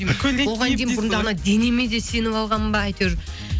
анау денеме де сеніп алғанмын ба әйтеуір